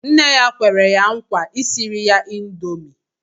Nne ya kwere ya nkwa isiri ya índomi